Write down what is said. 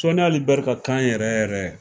Soni Ali Bɛri ka kan yɛrɛ yɛrɛ.